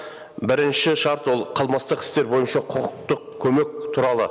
бірінші шарт ол қылмыстық істер бойынша құқықтық көмек туралы